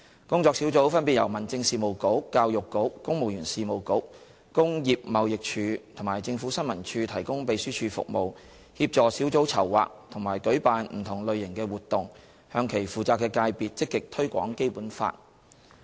工作小組分別由民政事務局、教育局、公務員事務局、工業貿易署及政府新聞處提供秘書處服務，協助小組籌劃和舉辦不同類型的活動，向其負責的界別積極推廣《基本法》。